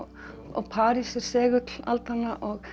og París er segull aldanna